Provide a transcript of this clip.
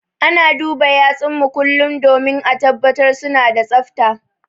Ana duba yatsun mu kullum domin ã tabbatar suna da tsafta.